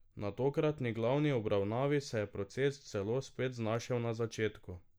Na tokratni glavni obravnavi se je proces celo spet znašel na začetku.